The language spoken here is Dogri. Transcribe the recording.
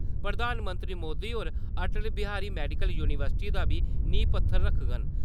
प्रधानमंत्री मोदी होर अटल बिहारी मैडिकल यूनिवर्सिटी दा बी नींह् पत्थर रक्खङन।